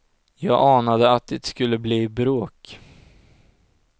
Jag anade att det skulle bli bråk.